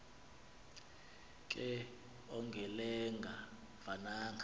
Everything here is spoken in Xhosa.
ke ongelenga vananga